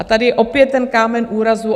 A tady je opět ten kámen úrazu.